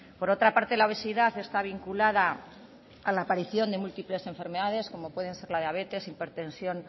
por otra parte la obesidad está vinculada a la aparición de múltiples enfermedades como pueden ser la diabetes hipertensión